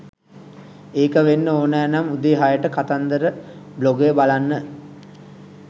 එක වෙන්න ඕනෑ නම් උදේ හයට කතන්දර බ්ලොගය බලන්න